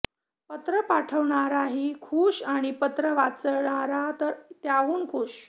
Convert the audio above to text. पत्र पाठवणाराही खूश आणि पत्र वाचणारा तर त्याहूनही खूश